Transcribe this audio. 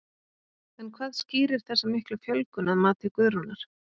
En hvað skýrir þessa miklu fjölgun að mati Guðrúnar?